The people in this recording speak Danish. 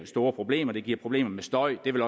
store problemer det giver problemer med støj og det vil